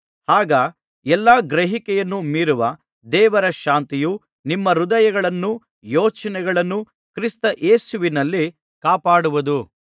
ಆಗ ಎಲ್ಲಾ ಗ್ರಹಿಕೆಯನ್ನು ಮೀರುವ ದೇವರ ಶಾಂತಿಯು ನಿಮ್ಮ ಹೃದಯಗಳನ್ನೂ ಯೋಚನೆಗಳನ್ನೂ ಕ್ರಿಸ್ತ ಯೇಸುವಿನಲ್ಲಿ ಕಾಪಾಡುವುದು